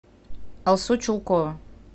алсу чулкова